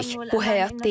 Bu həyat deyil.